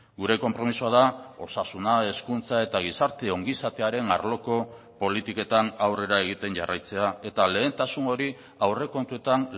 gure konpromisoa da osasuna hezkuntza eta gizarte ongizatearen arloko politiketan aurrera egiten jarraitzea eta lehentasun hori aurrekontuetan